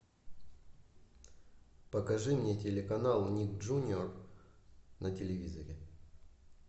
покажи мне телеканал ник джуниор на телевизоре